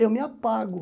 Eu me apago.